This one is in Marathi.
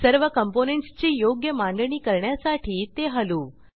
सर्व कॉम्पोनेंट्स ची योग्य मांडणी करण्यासाठी ते हलवू